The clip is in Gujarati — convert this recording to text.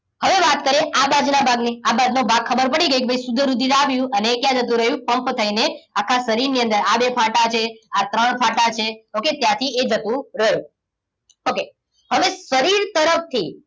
હવે વાત કરીએ આ બાજુના ભાગની આ બાજુનો ભાગ ખબર પડી ગઈ કે ભાઈ શુદ્ધ રુધિર આવ્યું અને એ ક્યાં જતું રહ્યું પંપ થઈને આખા શરીરની અંદર આ બે ફાટા છે આ ત્રણ ફાટા છે okay ત્યાંથી એ જતું રહ્યું okay હવે શરીર તરફથી